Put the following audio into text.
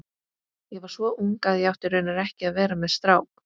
Ég var svo ung að ég átti raunar ekki að vera með strák.